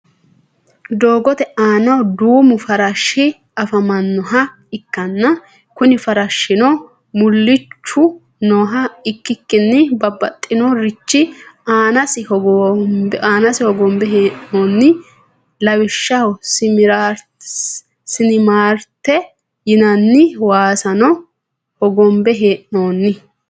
doogote aanna duumu farashshi afamannoha ikanna kunni farashshino mulichu nooha ikikinni babaxino richi aannasi hogonbe he'noonni lawishshaho siminaarete yinanni waasanno hogonbe he'noonni.